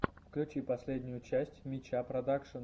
включи последнюю часть мяча продакшен